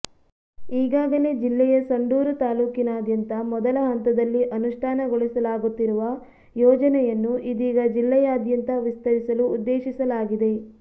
ಈಗಾಗಲೇ ಜಿಲ್ಲೆಯ ಸಂಡೂರು ತಾಲೂಕಿನಾದ್ಯಂತ ಮೊದಲ ಹಂತದಲ್ಲಿ ಅನುಷ್ಠಾನಗೊಳಿಸಲಾಗುತ್ತಿರುವ ಯೋಜನೆಯನ್ನು ಇದೀಗ ಜಿಲ್ಲೆಯಾದ್ಯಂತ ವಿಸ್ತರಿಸಲು ಉದ್ದೇಶಿಸಲಾಗಿದೆ